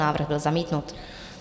Návrh byl zamítnut.